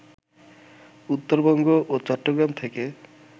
উত্তরবঙ্গ ও চট্টগ্রাম থেকে